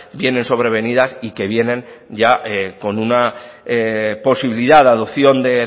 viene sobrevenidas y que vienen ya con una posibilidad de adopción de